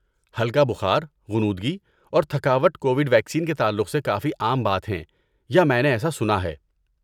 ہلکا بخار، غنودگی اور تھکاوٹ کووڈ ویکسین کے تعلق سے کافی عام بات ہیں یا میں نے ایسا سنا ہے۔